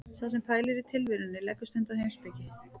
Sá sem pælir í tilverunni leggur stund á heimspeki.